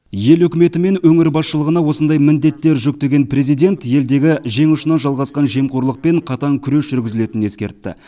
ел үкіметі мен өңір басшылығына осындай міндеттер жүктеген президент елдегі жең ұшынан жалғасқан жемқорлықпен қатаң күрес жүргізілетінін ескертті